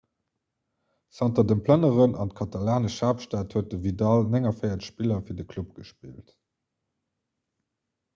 zanter dem plënneren an d'katalanesch haaptstad huet de vidal 49 spiller fir de club gespillt